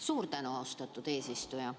Suur tänu, austatud eesistuja!